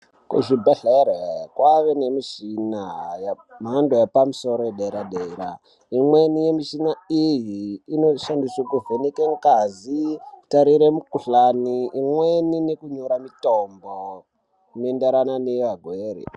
Muzvibhehlera kwane mishina yemhando yepamusoro yederadera imweni yemishina iyi inoshandiswe kuvheneke ngazi kutarira mikhuhlane imweni nekunyora mitombo inotenderana nevarwere.